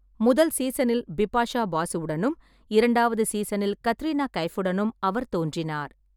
முதல் சீசனில் பிபாஷா பாசுவுடனும், இரண்டாவது சீசனில் கத்ரீனா கைஃபுடனும் அவர் தோன்றினார்.